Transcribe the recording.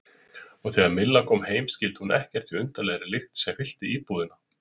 Og þegar Milla kom heim skildi hún ekkert í undarlegri lykt sem fyllti íbúðina.